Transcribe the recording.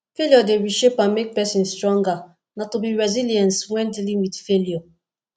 failure dey reshape and make pesin stronger na to be resilience while dealing with failure